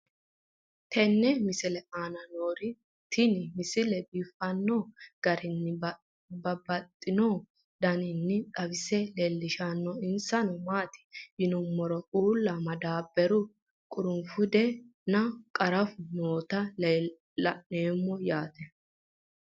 tenne misile aana noorina tini misile biiffanno garinni babaxxinno daniinni xawisse leelishanori isi maati yinummoro uulla madabaraho qurunfude nna qarafu noohu leelanno yaatte